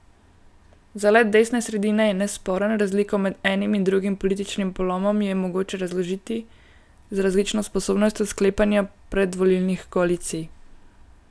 Zalet desne sredine je nesporen, razliko med enim in drugim političnim polom je mogoče razložiti z različno sposobnostjo sklepanja predvolilnih koalicij.